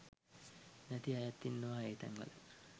නැති අයත් ඉන්නවා ඒ තැන්වල